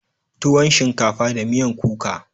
tuwon shinkafa da miyan kuka.